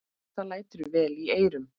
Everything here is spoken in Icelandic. Það lætur vel í eyrum.